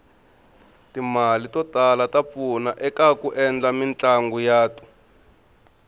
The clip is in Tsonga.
timale totala tapfuna ekaku endla mitlanguyatu